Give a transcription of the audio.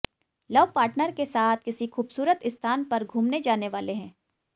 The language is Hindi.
लव पार्टनर के साथ किसी खूबसूरत स्थान पर घूमने जाने वाले हैं